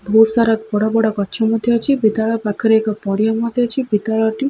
ବୋହୁତ୍ ସାରା ବଡ଼ ବଡ଼ ଗଛ ମଧ୍ୟ ଅଛି। ବିଦ୍ୟାଳୟ ପାଖରେ ଏକ ବଡ଼ ପଡ଼ିଆ ମଧ୍ୟ ଅଛି। ବିଦ୍ୟାଳୟ ଟି --